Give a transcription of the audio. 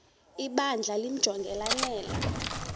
ibandla limjonge lanele